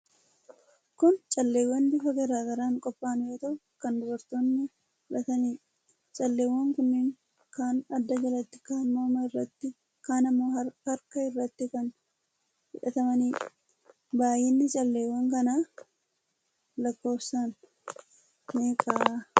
Kun calleewwan bifa garaa garaan qophaa'an yoo ta'u, kan dubartoonni godhataniidha. Calleewwan kunniin kaan adda jalatti, kaan morma irratti, kaan ammoo harka irratti kan hidhatamaniidha. Baay'inni calleewwan kanaa lakkoofsaan meeqa ta'a?